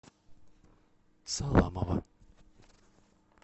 саламова